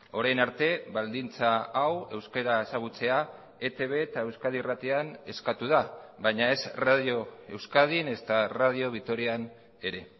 orain arte baldintza hau euskara ezagutzea etb eta euskadi irratian eskatu da baina ez radio euskadin ezta radio vitorian ere